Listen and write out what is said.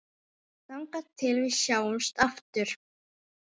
Þangað til við sjáumst aftur.